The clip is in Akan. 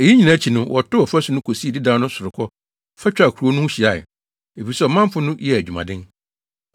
Eyi nyinaa akyi no, wɔtoo ɔfasu no kosii dedaw no sorokɔ fa twaa kurow no ho hyiae, efisɛ ɔmanfo no yɛɛ adwumaden.